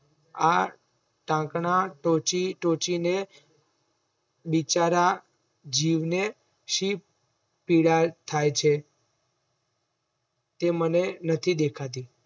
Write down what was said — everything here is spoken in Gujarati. આ ટાંકણા ટોચી ટોચીને બિચારા જીવને શી પીડા થાય છે. તે મને નથી દેખાતી